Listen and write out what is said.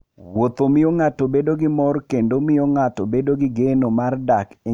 Wuoth miyo ng'ato bedo gi mor kendo miyo ng'ato bedo gi geno mar dak e ngima mokuwe.